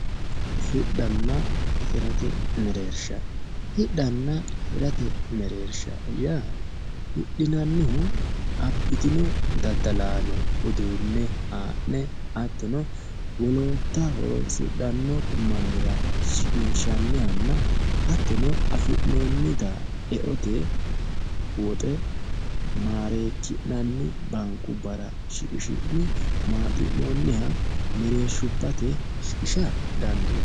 hidhanna hirate mereersha hidhanna hirate mereersha yaa hidhinannihu abbitino daddalaano uduunne haa'ne hattono wolootta horonsidhanno mannira shiqinshannihanna hattono afi'noonnita e"ote woxe maareekki'nanni baankubbara shiqishi'ne maaxi'noonniha mereershubbate shiqisha dandinanni.